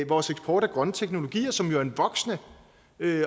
vores eksport af grønne teknologier som jo er en voksende